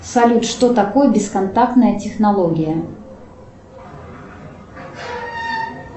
салют что такое бесконтактная технология